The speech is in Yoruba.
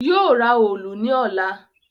Yóò ra òòlù ní ọ̀la